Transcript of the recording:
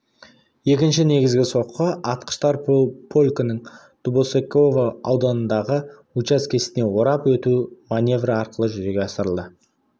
екінші негізгі соққы атқыштар полкінің дубосеково ауданындағы учаскесінде орап өту маневрі арқылы жүзеге асырылды